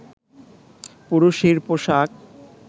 পুরুষের পোশাক